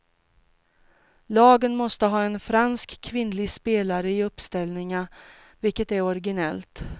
Lagen måste ha en fransk kvinnlig spelare i uppställningen, vilket är originellt.